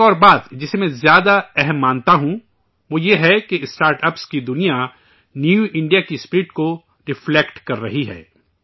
ایک اور بات جسے میں زیادہ اہم مانتا ہوں وہ یہ ہے کہ اسٹارٹاپس کی دنیا نیو انڈیا کی اسپرٹ کو رفلیکٹ کررہی ہے